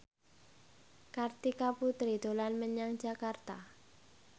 Kartika Putri dolan menyang Jakarta